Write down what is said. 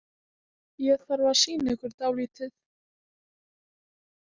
Ég þarf að sýna ykkur dálítið